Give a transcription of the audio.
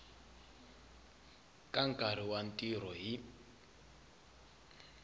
ka nkarhi wa ntirho hi